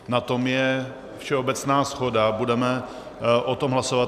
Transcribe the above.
Na tom je všeobecná shoda, budeme o tom hlasovat.